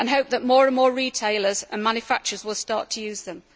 I hope that more and more retailers and manufacturers will start to use them.